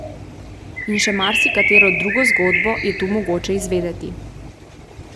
In še marsikatero drugo zgodbo je tu mogoče izvedeti.